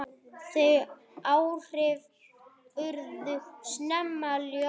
Þau áhrif urðu snemma ljós.